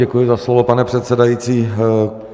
Děkuji za slovo, pane předsedající.